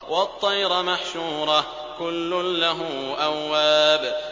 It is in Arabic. وَالطَّيْرَ مَحْشُورَةً ۖ كُلٌّ لَّهُ أَوَّابٌ